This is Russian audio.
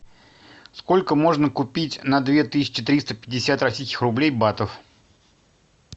сколько можно купить на две тысячи триста пятьдесят российских рублей батов